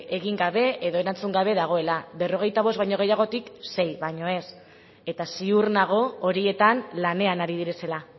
egin gabe edo erantzun gabe dagoela berrogeita bost baino gehiagotik sei baino ez eta ziur nago horietan lanean ari direla